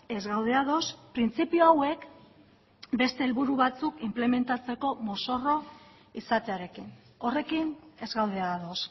ez gaude ados printzipio hauek beste helburu batzuk inplementatzeko mozorro izatearekin horrekin ez gaude ados